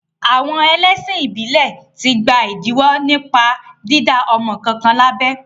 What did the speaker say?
Àwọn ẹlẹ́sìn ìbílẹ̀ ti gba ìdíwọ́ nípa dídá ọmọ kankan lábẹ.